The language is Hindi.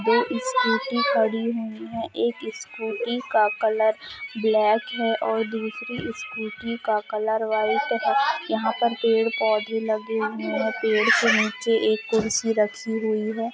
दो स्कूटी खड़ी हुई है एक स्कूटी का कलर ब्लैक है और दूसरी स्कूटी का कलर व्हाइट है यहां पर पेड़ पौधे लगे हुए हैं पेड़ के नीचे एक कुर्सी रखी हुई है ।